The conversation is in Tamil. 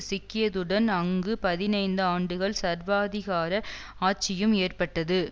சிக்கியதுடன் அங்கு பதினைந்து ஆண்டுகள் சர்வாதிகார ஆட்சியும் ஏற்பட்டது